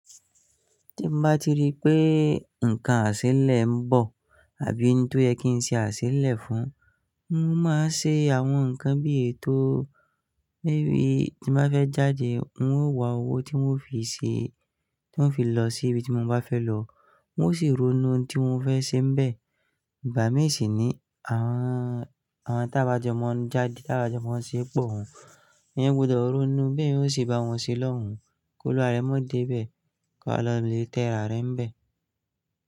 Tí mo bá ti rí pé nǹkan àṣélẹ̀ ń bọ̀ àbí ní tó yẹ kí n ṣe àṣélẹ̀ fún un, n ó máa ṣe àwọn nǹkan bí ètò. Gége bí tí mo bá fẹ́ jáde, ń ó wá owó tí ń ó fi ṣe, tí ń ó fi lọ sí ibi tí mo bá fẹ́ lọ. Ń ó sì ronú tí ń mó fẹ́ ṣe n bẹ́ẹ̀. Ìbá mí sì ni àwọn, àwọn tá bá jẹ mọ́ ń jáde, tá bá jẹ mọ́ ń ṣeé pọ̀ wọ́n. Eyan gbọdọ̀ ronú bí eyan ó sì bá wọn ṣe lọ́hùn kí olúwa rẹ̀ má dé bẹ́ẹ̀ ko wa lọ lè tẹ ìra rẹ̀ bẹ́ẹ̀